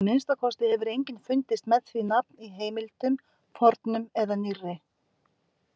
Að minnsta kosti hefur enginn fundist með því nafn í heimildum, fornum eða nýrri.